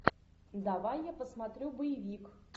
давай я посмотрю боевик